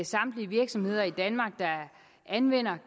samtlige virksomheder i danmark der anvender